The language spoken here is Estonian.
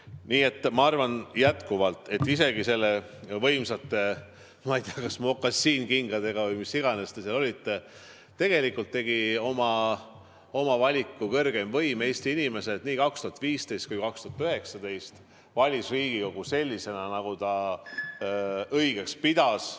Nii et ma arvan jätkuvalt, et isegi kui te nende võimsate, ma ei tea, kas mokassiinkingade või millega iganes seal olite, tegi kõrgeim võim oma valiku, Eesti inimesed valisid nii 2015 kui ka 2019 Riigikogu sellisena, nagu nad õigeks pidasid.